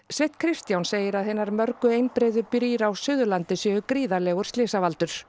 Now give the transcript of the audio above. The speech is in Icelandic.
Sveinn Kristján segir að hinar mörgu einbreiðu brýr á Suðurlandi séu gríðarlegur